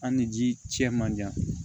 An ni ji cɛ man jan